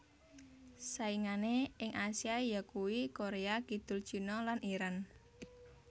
Saingané ing Asia yakuwi Korea Kidul China lan Iran